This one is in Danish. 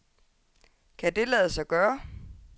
Kan det lade sig gøre?